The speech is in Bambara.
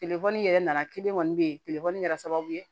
yɛrɛ nana kilen kɔni bɛ ye kɛra sababu ye